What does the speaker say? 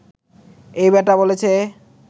এই বেটা বলছে